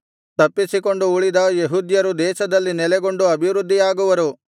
ತಪ್ಪಿಸಿಕೊಂಡು ಉಳಿದ ಯೆಹೂದ್ಯರು ದೇಶದಲ್ಲಿ ನೆಲೆಗೊಂಡು ಅಭಿವೃದ್ಧಿಯಾಗುವರು